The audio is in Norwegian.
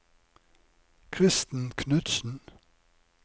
Kristen Knudsen